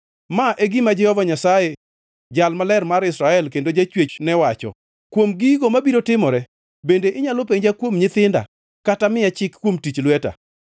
“Ma e gima Jehova Nyasaye Jal Maler mar Israel, kendo Jachwechne wacho: Kuom gigo mabiro timore, bende inyalo penja kuom nyithinda, kata miya chik kuom tich lweta?